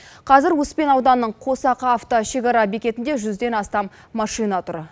қазір успен ауданының қосақ авто шекара бекетінде жүзден астам машина тұр